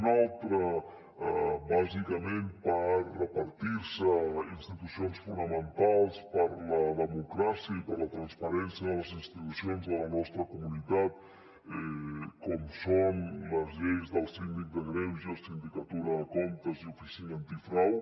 una altra bàsicament per repartir se institucions fonamentals per a la democràcia i per a la transparència de les institucions de la nostra comunitat com són les lleis del síndic de greuges sindicatura de comptes i oficina antifrau